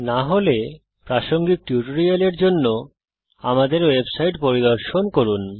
না হলে প্রাসঙ্গিক টিউটোরিয়ালের জন্য আমাদের ওয়েবসাইট পরিদর্শন করুন